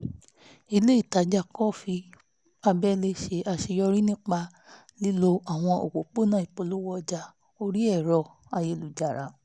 ilé ìtajà kọfí abẹ́lé ṣe àṣeyọrí nípa lílo àwọn òpópónà ìpolówó ọjà orí ẹ̀rọ-ayélujára